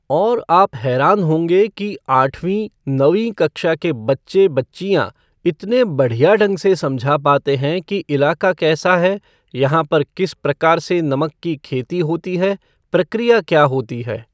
और आप हैरान होगें कि आठवीं, नवीं कक्षा के बच्चे, बच्च्यिां इतने बढ़िया ढंग से समझा पाते है कि इलाका कैसा है, यहां पर किस प्रकार से नमक की खेती होती है, प्रक्रिया क्या होती है।